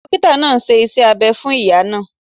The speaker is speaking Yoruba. Dókítà náà ṣe iṣẹ́ abẹ fún ìyá náà